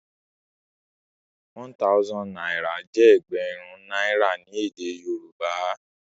One thousand náírà jé ẹgbẹrun náírà ní èdè Yorùbá